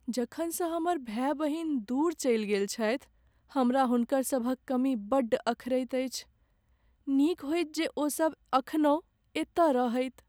जखनसँ हमर भाय बहिन दूर चलि गेल छथि हमरा हुनकरसभक कमी बड्ड अखरैत अछि। नीक होइत जे ओसब एखनहुँ एतय रहैत।